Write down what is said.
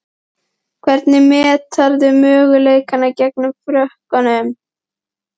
Hvernig meturðu möguleikana gegn Frökkum?